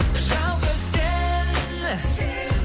жалғыз сен